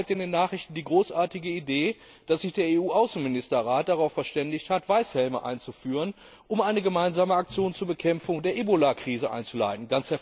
Ich lese heute in den Nachrichten die großartige Idee, dass sich der EU Außenministerrat darauf verständigt hat, Weißhelme einzuführen, um eine gemeinsame Aktion zur Bekämpfung der Ebolakrise einzuleiten.